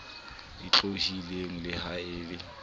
e otlolohileng le ha e